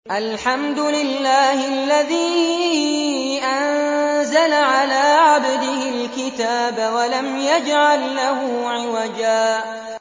الْحَمْدُ لِلَّهِ الَّذِي أَنزَلَ عَلَىٰ عَبْدِهِ الْكِتَابَ وَلَمْ يَجْعَل لَّهُ عِوَجًا ۜ